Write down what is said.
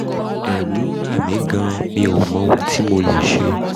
ẹ̀rù ń bà mí gan-an mi mí gan-an mi ò mọ ohun tí mo lè ṣe